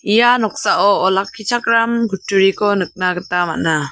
ia noksao olakkichakram kutturiko nikna gita man·a.